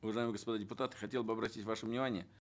уважаемые господа депутаты хотел бы обратить ваше внимание